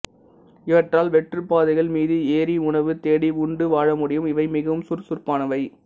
இவற்றால் வெற்றுப் பாறைகள் மீது ஏறி உணவு தேடி உண்டு வாழ முடியும் இவை மிகவும் சுறுசுறுப்பானவை